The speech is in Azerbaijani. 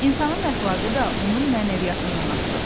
İnsanın əxlaqı da onun mənəviyyatından asılıdır.